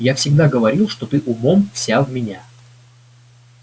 я всегда говорил что ты умом вся в меня